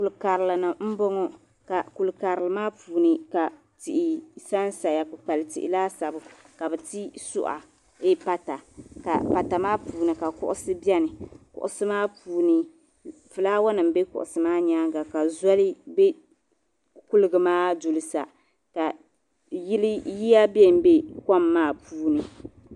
Kuli karili ni n bɔŋɔ kuli karili maa puu ni ka tihi sansaya kpi kpali tihi. laasabu ka biti pata , pata maa puuni ka kuɣisi beni ka flawa nim be kuɣisi maa nyaaŋa. zoli be kuligi maa duli sa. ka yiya benbe kuligi maa puuni